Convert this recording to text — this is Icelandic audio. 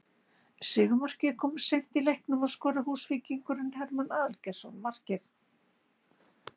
Sigurmarkið kom seint í leiknum og skoraði Húsvíkingurinn Hermann Aðalgeirsson markið